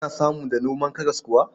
Ana samu da noman karas kuwa.